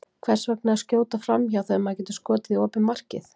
Hvers vegna að skjóta framhjá, þegar maður getur skotið í opið markið?